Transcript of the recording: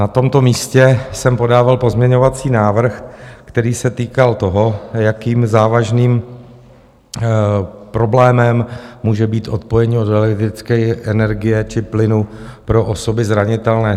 Na tomto místě jsem podával pozměňovací návrh, který se týkal toho, jakým závažným problémem může být odpojení od elektrické energie či plynu pro osoby zranitelné.